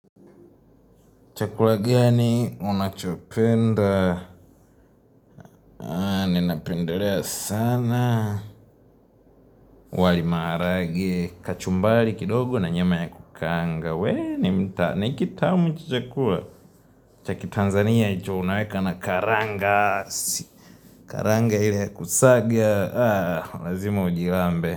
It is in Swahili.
Chakula gani, unachopenda, ninapendelea sana, wali marage, kachumbari kidogo na nyama ya kukaanga, wee, ni kitamu chakula, cha kiTanzania hicho unaweka na karanga, karanga ile ya kusaga, lazima ujilambe.